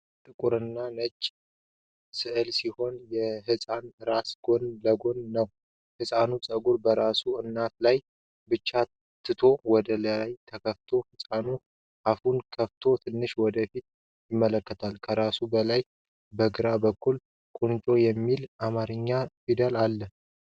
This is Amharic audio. ጥቁርና ነጭ ሥዕል ሲሆን፣ የሕፃን ራስ ጎን ለጎን ነው። የሕፃኑ ፀጉር በራሱ አናት ላይ ብቻ ተትቶ ወደ ላይ ተኩላፍቷል። ሕፃኑ አፉን ከፍቶ ትንሽ ወደ ፊት ይመለከታል። ከራሱ በላይ በግራ በኩል “ቁንጮ” የሚል የአማርኛ ፊደል አለ።